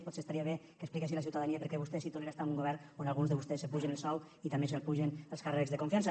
potser estaria bé que expliqués a la ciutadania per què vostè sí que tolera estar en un govern on alguns de vostès s’apugen el sou i també se l’apugen els càrrecs de confiança